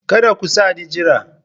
Kada ku sa ni jira!